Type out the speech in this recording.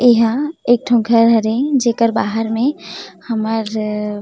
एहा एक ठो घर हरे जेकर बाहर में हमर--